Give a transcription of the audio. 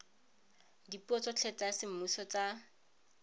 dipuo tsotlhe tsa semmuso tsa